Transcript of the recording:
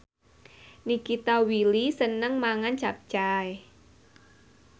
Nikita Willy seneng mangan capcay